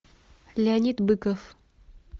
леонид быков